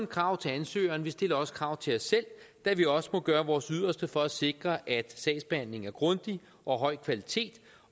krav til ansøgerne vi stiller også krav til os selv da vi også må gøre vores yderste for at sikre at sagsbehandlingen er grundig og af høj kvalitet